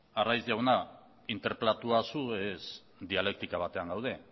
arraiz jauna interpelatua zu ez dialektika batean gaude